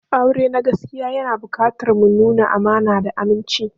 Aure na gaskiya yana buƙatar mu nuna amana da aminci.